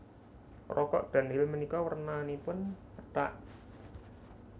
Rokok Dunhill menika wernanipun pethak